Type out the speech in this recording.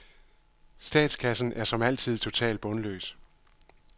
Statskassen er som altid totalt bundløs.